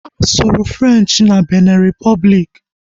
A sụrụ Frenchi na Binin Ripọbliki